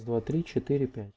раз два три четыре пять